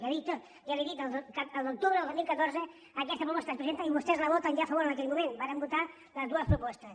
ja li ho he dit a l’octubre del dos mil catorze aquesta proposta es presenta i vostès hi voten ja a favor en aquell moment varen votar les dues propostes